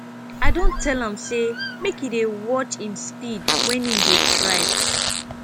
i don tell am sey make e dey watch im speed wen im dey drive